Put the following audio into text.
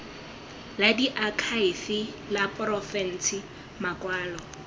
la diakhaefe la porofense makwalo